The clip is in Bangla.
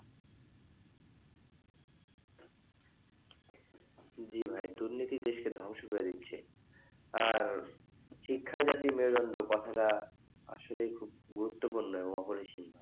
জি ভাই দুর্নীতি দেশকে ধ্বংস করে দিচ্ছে আর শিক্ষাই জাতীয় মেরুদন্ড কথা আসলে খুব গুরুত্বপূর্ণ এবং অপরিসীম,